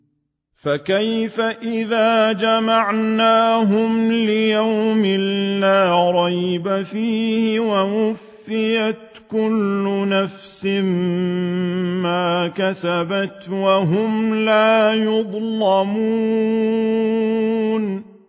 فَكَيْفَ إِذَا جَمَعْنَاهُمْ لِيَوْمٍ لَّا رَيْبَ فِيهِ وَوُفِّيَتْ كُلُّ نَفْسٍ مَّا كَسَبَتْ وَهُمْ لَا يُظْلَمُونَ